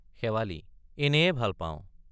শেৱালি—এনেয়ে ভাল পাওঁ।